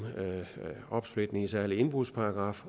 opsplitning og en særlig indbrudsparagraf